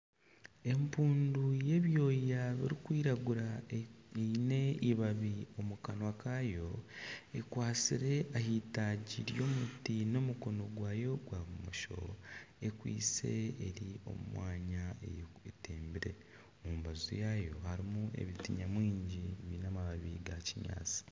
Empundu y'ebyoya birikwiragura eine eibabi omu kanwa kaayo ekwatsire aha eitaagi ry'omuti n'omukono gwayo gwa bumosho ekwaitse eri omu mwanya etembire. Omu mbaju yaayo harimu ebiti nyamwingi biine amababi ga kinyaatsi.